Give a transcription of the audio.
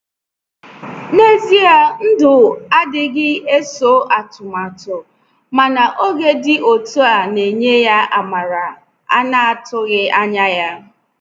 Na ezia ndụ anaghị eso atụmatụ, mana oge dị otú a na-enye ya amara ana-atụghị anya ya.